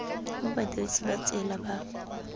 mo badirisi ba tsela ba